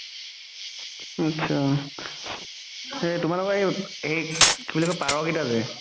আতচা সেই তোমালোকৰ সেই কি বুলি কই পাৰ কেইটা যে